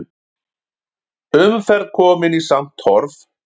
Umferð komin í samt horf